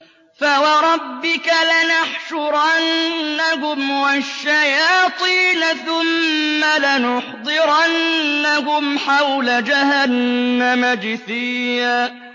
فَوَرَبِّكَ لَنَحْشُرَنَّهُمْ وَالشَّيَاطِينَ ثُمَّ لَنُحْضِرَنَّهُمْ حَوْلَ جَهَنَّمَ جِثِيًّا